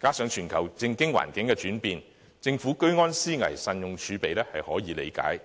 再加上全球政經環境轉變，政府居安思危，慎用儲備是可以理解的。